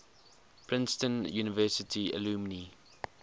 princeton university alumni